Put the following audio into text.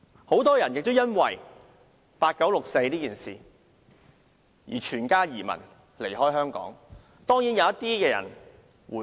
很多人因為八九六四這事而舉家移民，離開香港；當然，一些人其後回流。